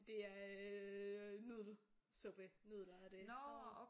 Det er øh nudelsuppe nudler og det